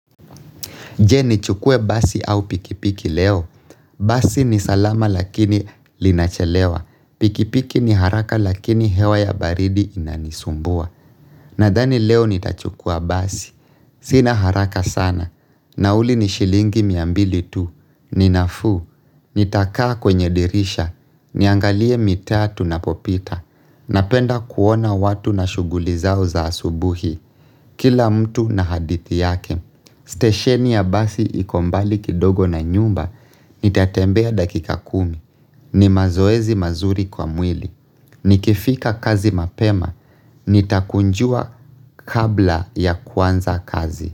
Je? Nichukue basi au pikipiki leo? Basi ni salama lakini linachelewa. Pikipiki ni haraka lakini, hewa ya baridi inanisumbua. Nadhani leo nitachukua basi. Sina haraka sana. Nauli ni shilingi mia mbili tu. Ninafuu. Nitakaa kwenye dirisha. Niangalie mitaa tunapopita. Napenda kuona watu na shughuli zao za asubuhi. Kila mtu na hadithi yake. Station ya basi iko mbali kidogo na nyumba. Nitatembea dakika kumi. Ni mazoezi mazuri kwa mwili. Nikifika kazi mapema, nitakunjua kabla ya kuanza kazi.